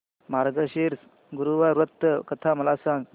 मार्गशीर्ष गुरुवार व्रत कथा मला सांग